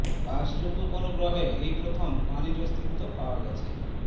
বাসযোগ্য কোনো গ্রহে এই প্রথম পানির অস্তিত্ব পাওয়া গেছে